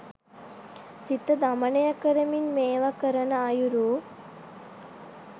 සිත දමනය කරමින් මේවා කරන අයුරු